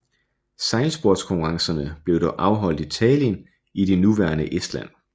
Sejlsportskonkurrencerne blev dog afholdt i Tallinn i det nuværende Estland